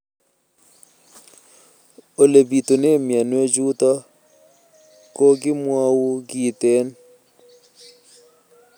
Ole pitune mionwek chutok ko kimwau kitig'�n